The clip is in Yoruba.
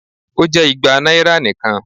O jẹ igba naira nikan